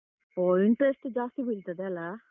ಓ interest ಜಾಸ್ತಿ ಬೀಳ್ತದೆ ಅಲ್ಲಾ.